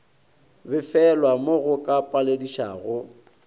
befelwa mo go ka paledišago